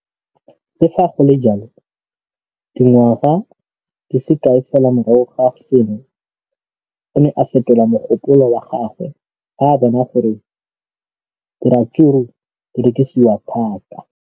Le fa go le jalo, dingwaga di se kae fela morago ga seno, o ne a fetola mogopolo wa gagwe fa a bona gore diratsuru di rekisiwa thata.